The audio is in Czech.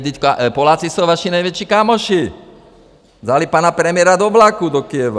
Vždyť Poláci jsou vaši největší kámoši, dali pana premiéra do vlaku do Kyjeva.